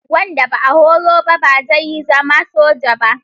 Wanda ba a horo ba ba zai zama soja ba.